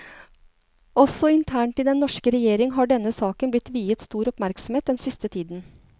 Også internt i den norske regjering har denne saken blitt viet stor oppmerksomhet den siste tiden.